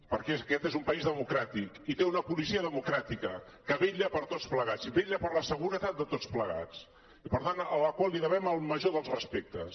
perquè aquest és un país democràtic i té una policia democràtica que vetlla per tots plegats i vetlla per la seguretat de tots plegats i per tant a la qual devem el major dels respectes